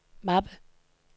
mappe